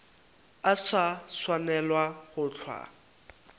a sa swanelago go hlwa